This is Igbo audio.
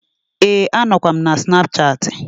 Ee, a nọkwa m na snapchattị.